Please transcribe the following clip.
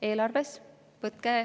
Eelarves.